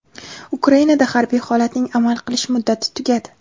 Ukrainada harbiy holatning amal qilish muddati tugadi.